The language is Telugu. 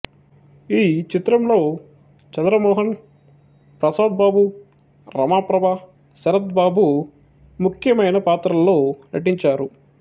ఈ చిత్రంలో చంద్ర మోహన్ ప్రసాద్ బాబు రమాప్రభ శరత్ బాబు ముఖ్యమైన పాత్రల్లో నటించారు